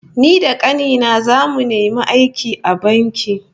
Ni da kani na zamu nemi aiki a banki